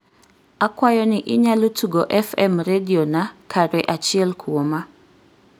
akwayo ni inyalo tugo fm rediona kare achiel kuoma